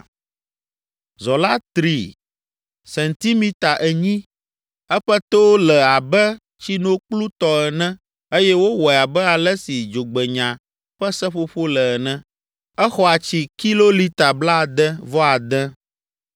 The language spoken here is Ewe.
Zɔ la tri sentimita enyi, eƒe to le abe tsinokplu tɔ ene eye wowɔe abe ale si dzogbenya ƒe seƒoƒo le ene. Exɔa tsi kilolita blaade-vɔ-ade.